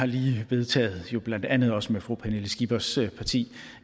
lige vedtaget blandt andet også med fru pernille skippers parti